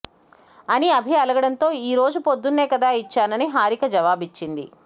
అని అభి అలగడంతో ఈరోజు పొద్దున్నే కదా ఇచ్చానని హారిక జవాబిచ్చింది